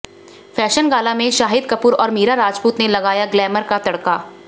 fashion gala में शाहिद कपूर और मीरा राजपुत ने लगाया ग्लैमर का तड़का